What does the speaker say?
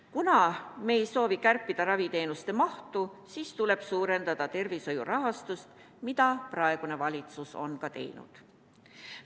Kuna me ei soovi kärpida raviteenuste mahtu, siis tuleb suurendada tervishoiu rahastust, mida praegune valitsus on teinud.